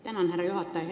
Tänan, härra juhataja!